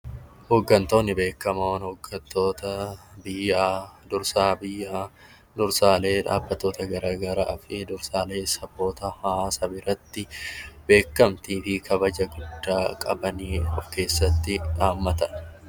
Hooggantoonni beekamoon hooggantoota biyyadha. Dursaa biyyoota garaagaraa fi dursaa saboota fi hawaasa biratti beekamtii fi kabaja guddaa qaban of keessatti hammatanidha.